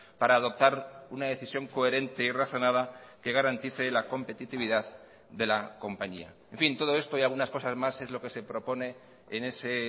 para adoptar una decisión coherente y razonada que garantice la competitividad de la compañía en fin todo esto y algunas cosas más es lo que se propone en ese